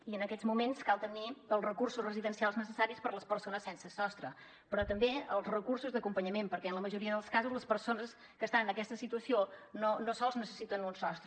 i en aquests moments cal tenir els recursos residencials necessaris per a les persones sense sostre però també els recursos d’acompanyament perquè en la majoria dels casos les persones que estan en aquesta situació no sols necessiten un sostre